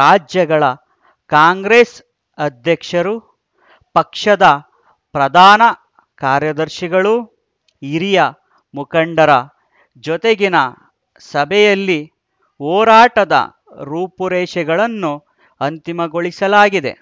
ರಾಜ್ಯಗಳ ಕಾಂಗ್ರೆಸ್‌ ಅಧ್ಯಕ್ಷರು ಪಕ್ಷದ ಪ್ರಧಾನ ಕಾರ್ಯದರ್ಶಿಗಳು ಹಿರಿಯ ಮುಖಂಡರ ಜೊತೆಗಿನ ಸಭೆಯಲ್ಲಿ ಹೋರಾಟದ ರೂಪುರೇಷೆಗಳನ್ನು ಅಂತಿಮಗೊಳಿಸಲಾಗಿದೆ